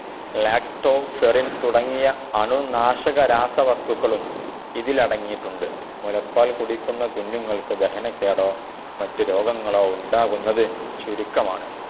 Lactoferrin തുടങ്ങിയ അണുനാശകരരാസവസ്തുക്കളും ഇതിലടങ്ങിയിട്ടുണ്ട്. മുലപ്പാൽ കുടിക്കുന്ന കുഞ്ഞുങ്ങൾക്കു ദഹനക്കേടോ മറ്റു രോഗങ്ങളോ ഉണ്ടാകുന്നത് ചുരുക്കമാണ്.